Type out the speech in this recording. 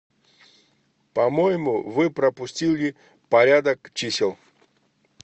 по моему вы пропустили порядок чисел